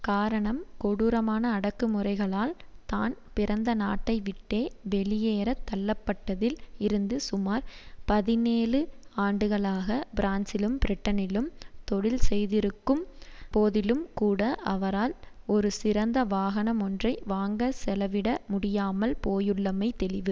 காரணம் கொடூரமான அடக்குமுறைகளால் தான் பிறந்த நாட்டைவிட்டே வெளியேற தள்ளப்பட்டதில் இருந்து சுமார் பதினேழு ஆண்டுகளாக பிரான்சிலும் பிரிட்டனிலும் தொழில் செய்திருக்கும் போதிலும் கூட அவரால் ஒரு சிறந்த வாகனம் ஒன்றை வாங்க செலவிட முடியாமல் போயுள்ளமை தெளிவு